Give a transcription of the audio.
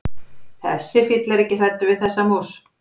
Þessi fíll er ekki hræddur við þessa mús.